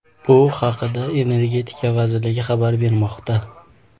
Bu haqda Energetika vazirligi xabar bermoqda .